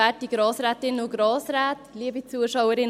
Für die SP-JUSO-PSA, Tanja Bauer.